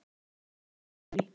Kvöld í júní.